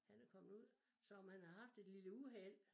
Han er kommet ud så om han har haft et lille uheld